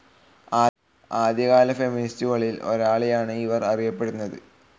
ആദ്യകാല ഫെമിനിസ്റ്റുകളിൽ ഒരാളായാണ് ഇവർ അറിയപ്പെടുന്നത്.